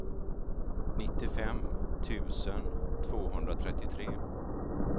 nittiofem tusen tvåhundratrettiotre